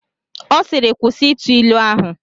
Ọ sịịrị, kwụsị ịtụ ilu ahụ!